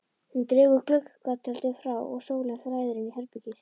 Hún dregur gluggatjöldin frá og sólin flæðir inn í herbergið.